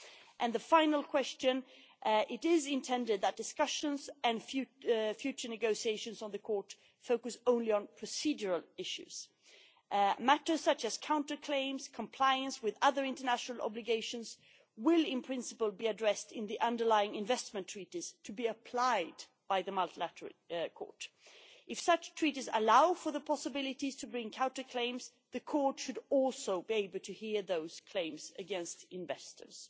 On the final question, it is intended that discussions and future negotiations on the Court should focus only on procedural issues. Matters such as counter claims and compliance with other international obligations will, in principle, be addressed in the underlying investment treaties to be applied by the Multilateral Investment Court. If such treaties allow for the possibility of bringing counter claims, the new Court should also be able to hear those claims against investors.